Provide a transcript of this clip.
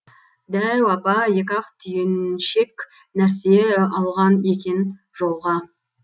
дәу апа екі ақ түйіншек нәрсе алған екен жолға